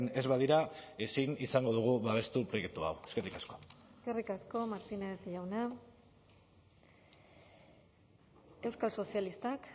ez badira ezin izango dugu babestu proiektu hau eskerrik asko eskerrik asko martínez jauna euskal sozialistak